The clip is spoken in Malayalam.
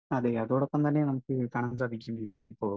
സ്പീക്കർ 1 അതെ. അതോടൊപ്പം തന്നെ നമുക്ക് കാണാൻ സാധിക്കും ഇപ്പോൾ,